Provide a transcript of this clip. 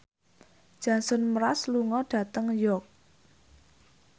Jason Mraz lunga dhateng York